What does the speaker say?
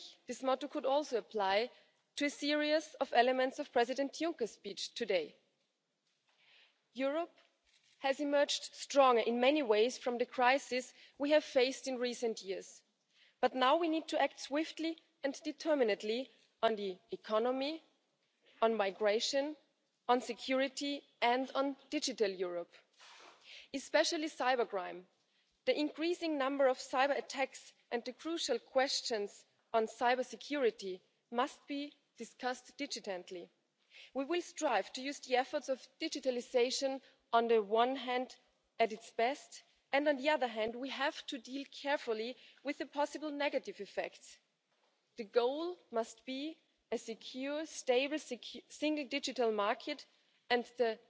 Aber dennoch sehen viele Menschen große Herausforderungen, viele Menschen haben Sorgen oder sind unzufrieden. Mein Eindruck ist Oft kommen diese Sorgen und diese Unzufriedenheit daher, dass die Menschen eine Erwartung an die Europäische Union haben, die wir nicht erfüllen können, Erwartungen haben, bei denen uns die Mitgliedstaaten gar nicht die Instrumente an die Hand geben, diese Erwartungen zu erfüllen, und die europäischen Institutionen nicht die nötige Kompetenz haben. Wenn Kommissionspräsident Juncker anregt, dass wir das Thema Steuervergünstigungen beseitigen, Steuervergünstigungen für Unternehmen wie Apple oder Amazon, die auf dem Rücken von Handwerkern und Mittelstand gewährt werden, wenn wir eine stärkere gemeinsame Außenpolitik gestalten wollen oder wenn wir das Thema Migration und Schutz der Außengrenzen europäisch gemeinsam besser angehen wollen, dann haben wir doch ganz genau die Situation, dass die Mitgliedstaaten uns in ganz vielen dieser Dinge die Kompetenz bisher nicht abgegeben